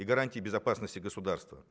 и гарантия безопасности государства